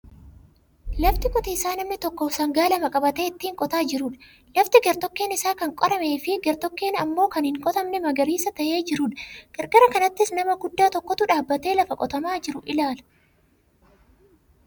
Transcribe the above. Lafa qotiisaa namni tokko sangaa lama qabatee ittiin qotaa jirudha. Lafti gar-tokkeen isaa kan qorameefi gar-tokkeen ammoo kan hin qotamne magariisa ta'ee jirudha. Qarqara kanattis nama guddaa tokkotu dhaabatee lafa qotamaa jiru ilaala.